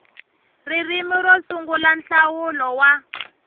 ririmi ro sungula nhlawulo wa